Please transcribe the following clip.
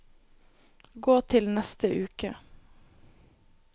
gå til neste uke